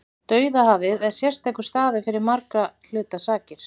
Dauðahafið er sérstakur staður fyrir margra hluta sakir.